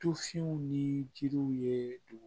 Tufinw ni jiriw ye dugu